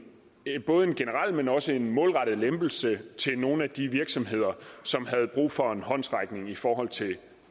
generel men også en målrettet lempelse til nogle af de virksomheder som havde brug for en håndsrækning i forhold til